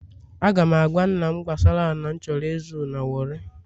Aga m agwa nna m gbasara ala m chọrọ ịzụ na warri